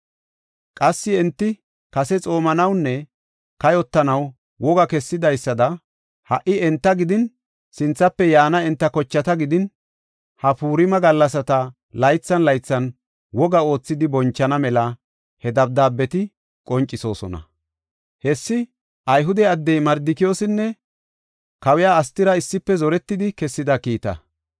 Qassi enti kase xoomanawunne kayotanaw wogaa kessidaysada, ha77i enta gidin, sinthafe yaana enta kochata gidin, ha Purima gallasata laythan laythan woga oothidi bonchana mela he dabdaabeti qoncisosona. Hessi Ayhude addey Mardikiyoosinne kawiya Astira issife zoretidi kessida kiita.